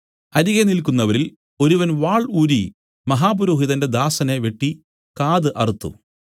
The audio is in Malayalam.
അരികെ നില്ക്കുന്നവരിൽ ഒരുവൻ വാൾ ഊരി മഹാപുരോഹിതന്റെ ദാസനെ വെട്ടി കാത് അറുത്തു